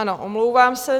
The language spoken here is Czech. Ano, omlouvám se.